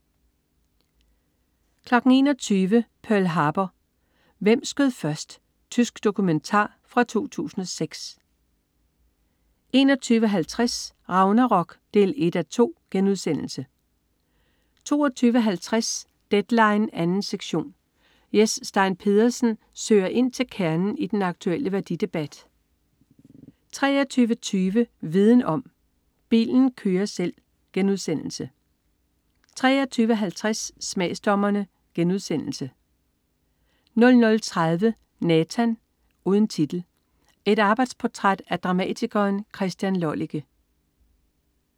21.00 Pearl Harbor, hvem skød først? Tysk dokumentar fra 2006 21.50 Ragnarok 1:2* 22.50 Deadline 2. sektion. Jes Stein Pedersen søger ind til kernen i den aktulle værdidebat 23.20 Viden om: Bilen kører selv* 23.50 Smagsdommerne* 00.30 Nathan (uden titel). Et arbejdsportræt af dramatikeren Christian Lollike